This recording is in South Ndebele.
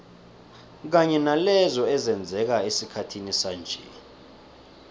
kanye nalezo ezenzeka esikhathini sanje